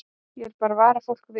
Ég vil bara vara fólk við.